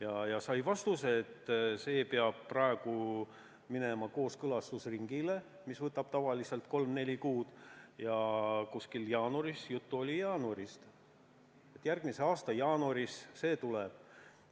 Ja ta sai vastuse, et eelnõu peab praegu minema kooskõlastusringile, mis võtab tavaliselt kolm või neli kuud, ja kuskil järgmise aasta jaanuaris – juttu oli jaanuarist – see tuleb.